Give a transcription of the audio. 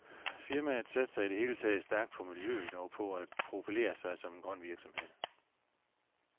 Firmaet satser i det hele taget stærkt på miljøet og på at profilere sig som en grøn virksomhed.